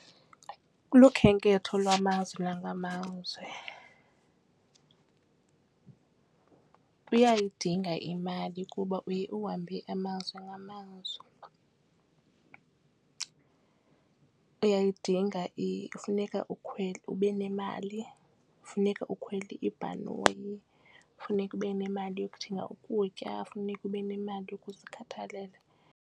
Lukhenketho lamazwi wangamazwe luyayidinga imali kuba uye uhambe amazwe ngamazwe. Uyayidinga kufuneka ukhwele ube nemali funeka ukhwele ibhanoyi kufuneka ube nemali yokuthenga ukutya funeke ube nemali yokuzikhathalela.